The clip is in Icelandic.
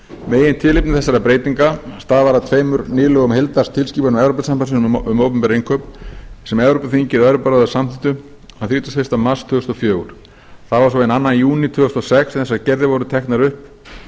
megintilefni þessara breytinga stafar af tveimur nýlegum heildartilskipunum evrópusambandsins um opinber innkaup sem evrópuráðið og evrópuþingið samþykktu þann þrítugasta og fyrsta mars það var svo hinn annan júní tvö þúsund og sex sem þessar gerðir voru teknar upp